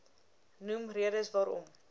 noem redes waarom